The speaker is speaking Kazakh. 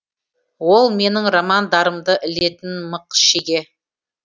ол менің романдарымды ілетін мық шеге